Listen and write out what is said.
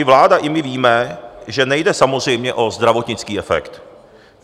I vláda, i my víme, že nejde samozřejmě o zdravotnický efekt.